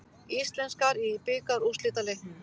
Íslenskar í bikarúrslitaleiknum